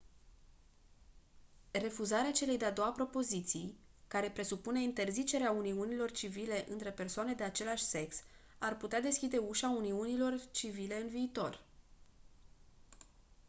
refuzarea celei de-a doua propoziții care propune interzicerea uniunilor civile între persoane de același sex ar putea deschide ușa uniunilor civile în viitor